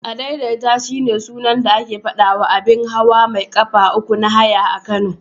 Adaidaita shine sunan da ake faɗawa abun hawa mai ƙafa uku na haya a Kano.